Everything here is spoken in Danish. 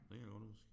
Det kan jeg godt huske